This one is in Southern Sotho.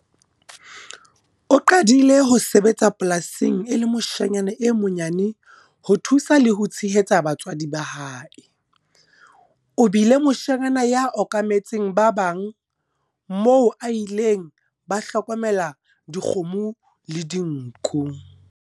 O qadile ho sebetsa polasing e le moshanyana e monyane ho thusa le ho tshehetsa batswadi ba hae. O bile moshanyana ya okametseng ba bang moo a ileng ba hlokomela dikgomo le dinku.